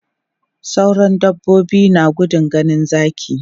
Sauran dabbobi na gudun ganin zaki.